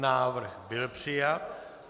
Návrh byl přijat.